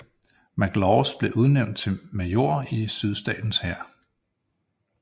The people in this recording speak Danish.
McLaws blev udnævnt til major i Sydstaternes hær